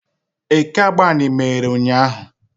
Eke Agbani meghere ụnyahụ?